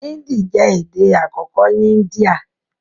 Índì jẹ́ èdè àkọ́kọ́ ní Índíà